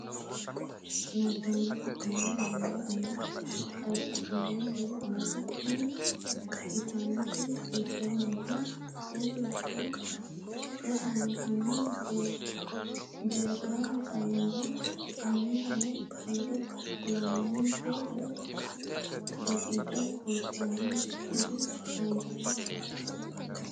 nabbambe sa’nummo niwaawe umo qaagisannonkehu ayeeti? Tini ikkitannoti hiittenneeti? Afuu Jirte Rosaano, hanni deerrisaanonna batinyisaano kiiro kulannonke woy daqiiqa kultannonketi ayeeti?